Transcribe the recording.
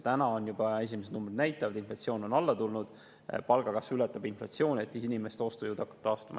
Esimesed numbrid juba näitavad, et inflatsioon on alla tulnud ja palgakasv ületab inflatsiooni ehk inimeste ostujõud hakkab taastuma.